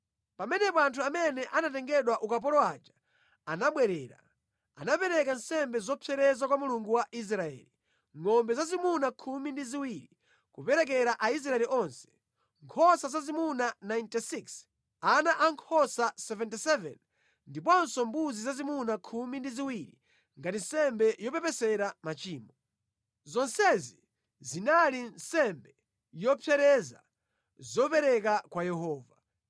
Pamenepo anthu amene anatengedwa ukapolo aja anabwerera, anapereka nsembe zopsereza kwa Mulungu wa Israeli: ngʼombe zazimuna khumi ndi ziwiri, kuperekera Aisraeli onse, nkhosa zazimuna 96, ana ankhosa 77, ndiponso mbuzi zazimuna khumi ndi ziwiri ngati nsembe yopepesera machimo. Zonsezi zinali nsembe yopsereza zopereka kwa Yehova.